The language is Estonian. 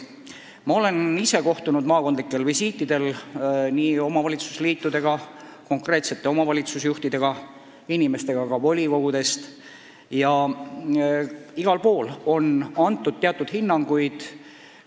Ma olen visiitidel maakondadesse kohtunud omavalitsuste liitudega ja konkreetsete omavalitsuste juhtidega, samuti inimestega volikogudest ja igal pool on antud teatud hinnanguid.